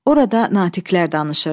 Orada natiqlər danışırdı.